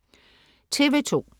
TV2: